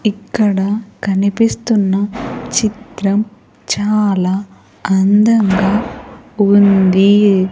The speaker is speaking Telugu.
ఇక్కడ కనిపిస్తున్న చిత్రం చాలా అందంగా ఉంది.